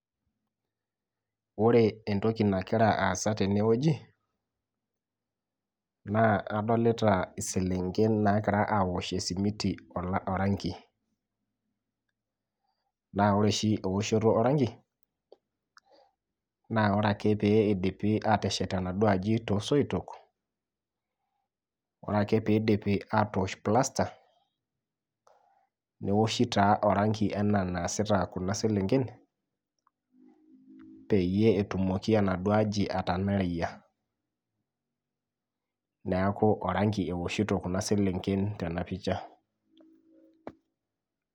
Ore entoki nakira aasa teenewueji naa adolita iselenken nakira awosh esimiti ola orangi naa ore oshi ewoshoto orangi naa ore ake pee eidipi ateshet enaduo aji tosoitok oreake piidipi atosh plaster neoshi taa orangi enaa enaasita kuna selenken peyie etumoki enaduo aji atanareyia neaku orangi ewoshiito kuna selenken tena picha.